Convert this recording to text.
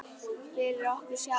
Fyrir okkur sjálf.